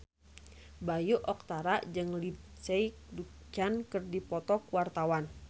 Bayu Octara jeung Lindsay Ducan keur dipoto ku wartawan